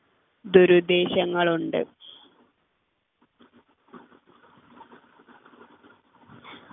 ദുരുദ്ദേശങ്ങൾ ഉണ്ട്